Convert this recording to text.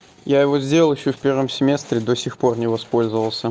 я его сделал ещё в первом семестре до сих пор не воспользовался